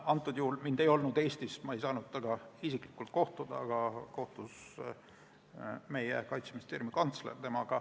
Tookord mind ei olnud Eestis ja ma ei saanud temaga isiklikult kohtuda ja siis kohtus meie Kaitseministeeriumi kantsler.